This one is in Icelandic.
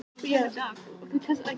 Gerður er þó ekki iðjulaus.